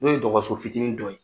N'o ye dɔgɔso fitinin dɔ ye.